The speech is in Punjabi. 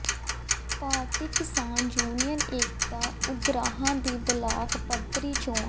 ਭਾਰਤੀ ਕਿਸਾਨ ਯੂਨੀਅਨ ਏਕਤਾ ਉਗਰਾਹਾਂ ਦੀ ਬਲਾਕ ਪੱਧਰੀ ਚੋਣ